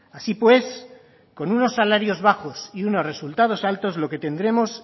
así pues con unos salarios bajos y unos resultados altos lo que tendremos